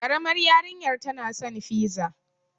Ƙaramar yarinyar tana san fiza.